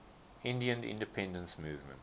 indian independence movement